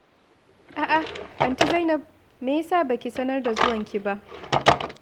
A'a, Aunty Zainab! Me ya sa ba ki sanar da zuwanki ba?